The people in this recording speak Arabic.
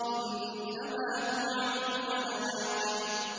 إِنَّمَا تُوعَدُونَ لَوَاقِعٌ